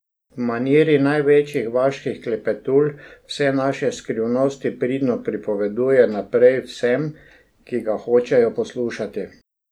V maniri največjih vaških klepetulj vse naše skrivnosti pridno pripoveduje naprej vsem, ki ga hočejo poslušati.